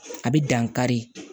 A bɛ dankari